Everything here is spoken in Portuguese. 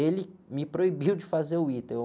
ele me proibiu de fazer o ita, eu...